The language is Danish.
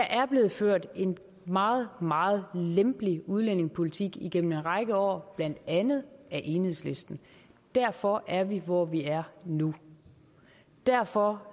er blevet ført en meget meget lempelig udlændingepolitik igennem en række år blandt andet af enhedslisten derfor er vi hvor vi er nu derfor